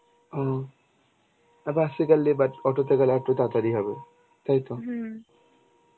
ও আর বাস এ গেলে but অটোতে গেলে আরেকটু তাড়াতাড়ি হবে. তাইতো?